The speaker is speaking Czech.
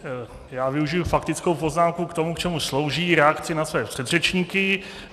Já využiji faktickou poznámku k tomu, k čemu slouží, reakci na své předřečníky.